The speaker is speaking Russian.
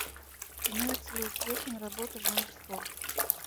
имеется ли у тебя киноработа жанр спорт